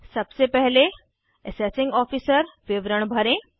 सबसे पहले assessing officer विवरण भरें